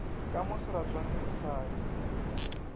ka mo seratswaneng sa ka